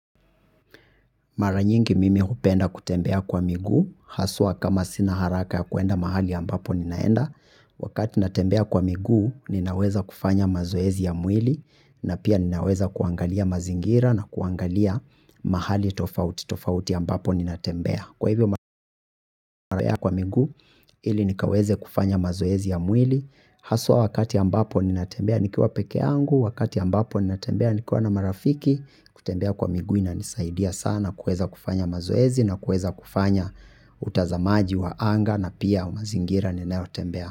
Mara nyingi mimi hupenda kutembea kwa miguu, haswa kama sina haraka ya kuenda mahali ambapo ninaenda, wakati natembea kwa miguu ninaweza kufanya mazoezi ya mwili, na pia ninaweza kuangalia mazingira na kuangalia mahali tofauti tofauti ambapo ninatembea. Kwa hivyo kwa migu ili nikaweze kufanya mazoezi ya mwili. Haswa wakati ambapo ninatembea nikiwa peke angu. Wakati ambapo ninatembea nikiwa na marafiki. Kutembea kwa miguu inanisaidia sana kuweza kufanya mazoezi. Na kueza kufanya utazamaji wa anga na pia wa mazingira ninayotembea.